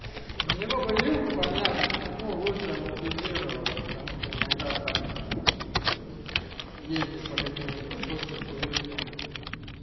на него бы вилку помягче чтобы ну лучше амортизировала потому что иногда так себя ездить по каким-нибудь кочкам хуёчкам блин